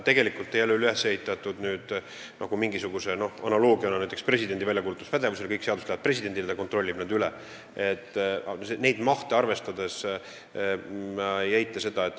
See ei ole üles ehitatud mingisuguse analoogia põhjal, näiteks presidendi väljakuulutuspädevuse analoogiana, mis tähendab seda, et kõik seadused lähevad presidendile ja ta kontrollib need üle.